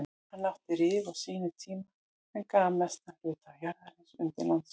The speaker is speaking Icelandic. Hann átti Rif á sínum tíma en gaf mestan hluta jarðarinnar undir landshöfn.